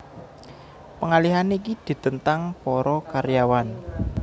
Pengalihan iki ditentang para karyawan